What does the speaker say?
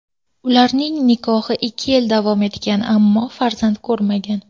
Ularning nikohi ikki yil davom etgan, ammo farzand ko‘rmagan.